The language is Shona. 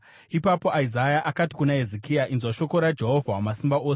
Ipapo Isaya akati kuna Hezekia, “Inzwa shoko raJehovha Wamasimba Ose: